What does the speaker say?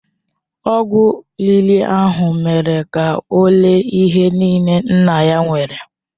Ọgwụ riri ahụ mere ka ọ ree ihe niile nna ya nwere.